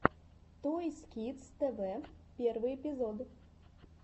тойс кидс тэ вэ первый эпизод